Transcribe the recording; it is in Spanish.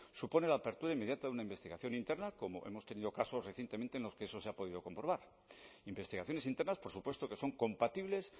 supone la apertura inmediata una investigación interna como hemos tenido casos recientemente en los que eso se ha podido comprobar investigaciones internas por supuesto que son compatibles